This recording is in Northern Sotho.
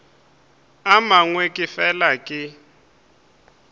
a mangwe ke fela ke